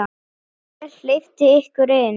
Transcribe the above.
Hver hleypti ykkur inn?